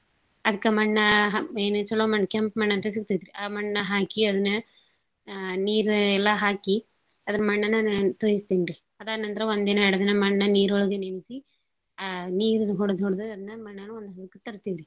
ಅದ್ಕ ಮಣ್ಣ ಹ್~ ಏನ್ ಚೊಲೋ ಮಣ್ ಕೆಂಪ್ ಮಣ್ ಅಂತ ಸಿಗ್ತೇತ್ರಿ. ಆ ಮಣ್ಣ ಹಾಕಿ ಅದ್ನ ನೀರ ಎಲ್ಲಾ ಹಾಕಿ ಅದ್ನ್ ಮಣ್ಣನ ನ~ ತೊಯ್ಸ್ತೀನ್ರಿ. ಅದಾದ್ ನಂತರ ಒಂದಿನ ಎರ್ಡ್ ದಿನ ಮಣ್ಣ ನೀರೊಳಗೆ ನೆನ್ಸಿ ಆ ನೀರ್ ಹೊಡದ್ ಹೊಡ್ದು ಅದ್ನ ಮಣ್ಣ ಒಂದ್ ಹದಕ್ಕ ತರ್ತೀನಿ.